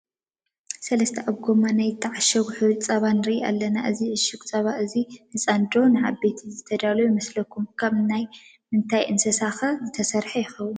ሰለስተ ኣብ ጎማ ናይ ዝተዓሸጉ ሕሩጭ ፀባ ንሪኢ ኣለና፡፡ እዚ ዕሽግ ፀባ እዚ ንህፃናት ዶ ንዓበይቲ ዝተዳለወ ይመስለኩም? ካብ ናይ ምንታይ እንስሳ ኸ ዝተሰርሐ ይኾን?